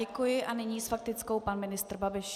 Děkuji a nyní s faktickou pan ministr Babiš.